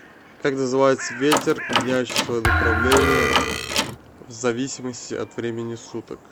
как называется ветер меняющий свое направление в зависимости от времени суток